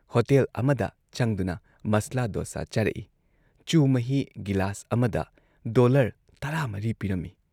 Hotel ꯑꯃꯗ ꯆꯪꯗꯨꯅ ꯃꯁꯂꯥ ꯗꯣꯁꯥ ꯆꯥꯔꯛꯏ, ꯆꯨ ꯃꯍꯤ ꯒꯤꯂꯥꯁ ꯑꯃꯗ ꯗꯣꯜꯂꯔ ꯱꯴ ꯄꯤꯔꯝꯏ ꯫